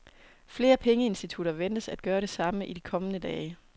Flere pengeinstitutter ventes at gøre det samme i de kommende dage.